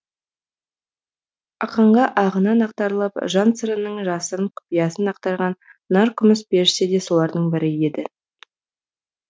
ақанға ағынан ақтарылып жан сырының жасырын құпиясын ақтарған наркүміс періште де солардың бірі еді